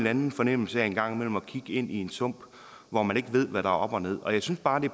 anden fornemmelse af en gang imellem at kigge ind i en sump hvor man ikke ved hvad der er op og ned og jeg synes bare at det